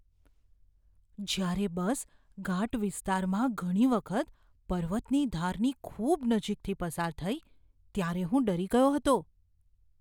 જ્યારે બસ ઘાટ વિસ્તારમાં ઘણી વખત પર્વતની ધારની ખૂબ નજીકથી પસાર થઈ ત્યારે હું ડરી ગયો હતો.